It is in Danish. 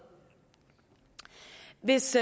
hvis